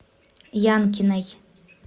янкиной